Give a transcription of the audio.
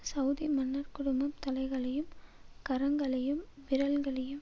Saudi மன்னர் குடும்பம் தலைகளையும் கரங்களையும் விரல்களையும்